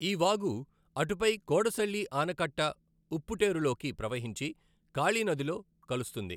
ఈ వాగు అటుపై కోడసళ్లి ఆనకట్ట ఉప్పుటేఱులోకి ప్రవహించి కాళి నదిలో కలుస్తుంది.